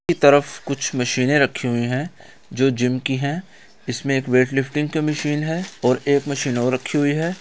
की तरफ कुछ मशीनें रखी हुई है जो जिम की है इसमें एक वेट लिफ्टिंग की मशीन है और एक मशीन और रखी हुई है।